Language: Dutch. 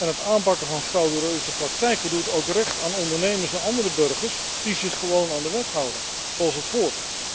Het aanpakken van frauduleuze praktijken doet ook recht aan ondernemers en andere burgers die zich gewoon aan de wet houden, zoals het hoort.